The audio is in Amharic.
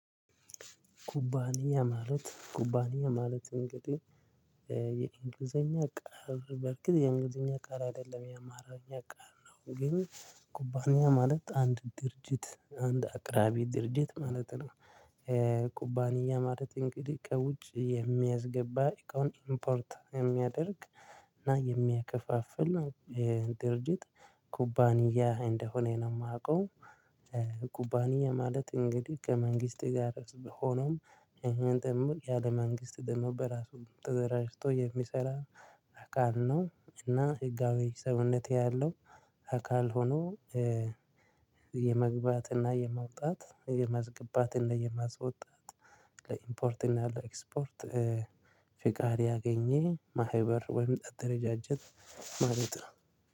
ኩባንያ ማለት ኩባንያ ማለት እንግዲህ የእንግሊዘኛ ቃል በርክል የእንግሊዝኛ ቃል አይደለም የአማራኛ ቃል ነው ግን ኩባንያ ማለት አንድ ድርጅት አንድ አቅራቢ ድርጅት ማለት ነው። ኩባንያ ማለት እንግዲህ ከውጪ የሚያዝገባእቃውን ኢምፖርት የሚያደርግ እና የሚያከፋፍል ድርጅት ኩባንያ እንደሆነ ነው ማውቀው። ኩባንያ ማለት እንግዲህ ከመንግስት ጋር ሆኖም እንትን እሚል ያለ መንግስት ደም በራሱ ተደራጅቶ የሚሰራ አካል ነው። እና ህጋዊ ሰውነቴ ያለው አካል ሆኖ። የመግባት እና የማውጣት የማስገባት እና የማስወጣት ለኢምፖርት እና ለኤክስፖርት ፍቃድ ያገኘ ማህበር ወይም አደረጃጀት ማለት ነው